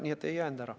Nii et ei jäänud ära.